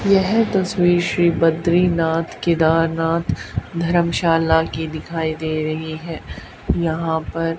यह तस्वीर श्री बद्रीनाथ केदारनाथ धर्मशाला की दिखाई दे रही है यहां पर--